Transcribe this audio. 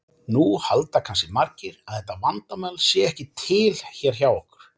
Nú halda kannski margir að þetta vandamál sé ekki til hér hjá okkur.